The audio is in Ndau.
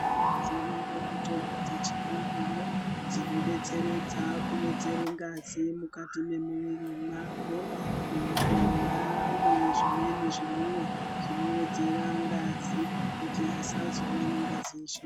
Dziriyo mitombo dze chiyungu uno dzino detseredza kuwedzere ngazi mukati memuviri mwako, muntu ngaamwe zvimweni zvimwiwa zvino wedzera ngazi kuti asazova nengazi shoma.